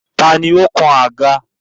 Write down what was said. Tani ó kan àga?